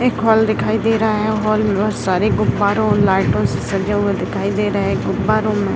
एक हॉल दिखाई दे रहा है हॉल में बहुत सारे गुब्बारे और लाइट से सजे हुए दिखाई दे रहे है गुब्बारो में --